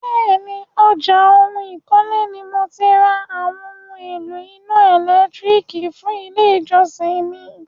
Bẹ́ẹ̀ni, ọjà oun ìkọ́lé ni mo ti ra àwọn oún èlò iná ẹ̀lẹ́tírìkì fún ilé ìjọsìn mi.